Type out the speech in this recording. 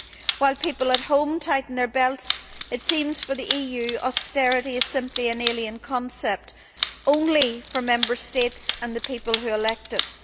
While people at home tighten their belts, it seems for the EU that austerity is simply an alien concept, only for Member States and the people who elect us.